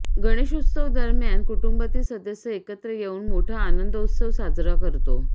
गणेशोत्सवादरम्यान कुटुंबातील सदस्य एकत्र येऊन मोठा आनंदोत्सव सादरा करतो